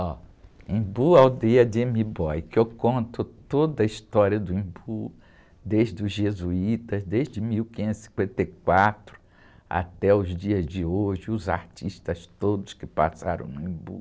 Ó, Embu Aldeia de M'Boy, que eu conto toda a história do Embu, desde os jesuítas, desde mil quinhentos e cinquenta e quatro até os dias de hoje, os artistas todos que passaram no Embu.